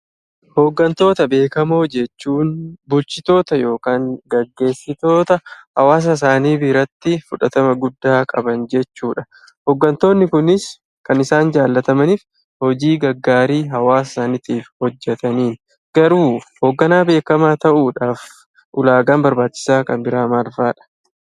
Hooggantoota beekamoo jechuun bulchitoota yokaan geggeessitoota hawaasasaanii biratti fudhatama guddaa qaban jechuudha. Hooggantoonni kunis kan isaan jaallatamaniif hojii gaggaarii hawaasa saanitiif hojjetaniin. Garuu hoogganaa beekamaa ta'uudhaf ulaagaan barbaachisaa kan biraa maalfaadha?